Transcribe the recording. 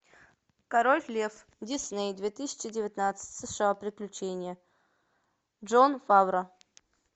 король лев дисней две тысячи девятнадцать сша приключения джон фавро